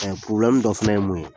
dɔ fɛnɛ ye mun ye